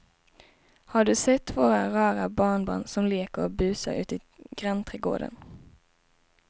Har du sett våra rara barnbarn som leker och busar ute i grannträdgården!